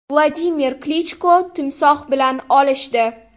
Vladimir Klichko timsoh bilan olishdi .